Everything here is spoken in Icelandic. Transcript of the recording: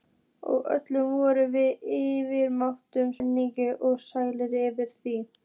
Og öll vorum við yfirmáta spennt og sæl yfir því.